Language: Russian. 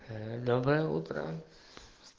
доброе утро